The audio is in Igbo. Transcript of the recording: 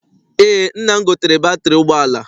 Eé, nna m gotere batịrị ụgbọala.